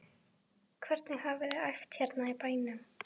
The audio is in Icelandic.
Hvernig hafiði æft hérna í bænum?